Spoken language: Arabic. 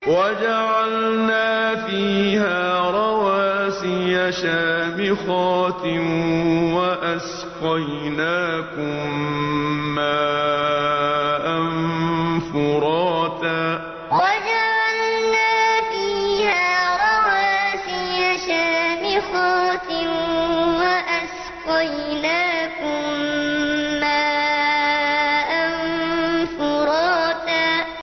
وَجَعَلْنَا فِيهَا رَوَاسِيَ شَامِخَاتٍ وَأَسْقَيْنَاكُم مَّاءً فُرَاتًا وَجَعَلْنَا فِيهَا رَوَاسِيَ شَامِخَاتٍ وَأَسْقَيْنَاكُم مَّاءً فُرَاتًا